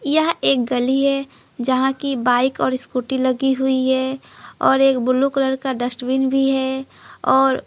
यह एक गली है जहां की बाइक और स्कूटी लगी हुई है और एक ब्लू कलर का डस्टबिन भी है और।